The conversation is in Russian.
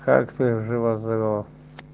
как ты жива здорова